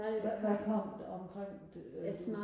hvad hvad kom omkring det øh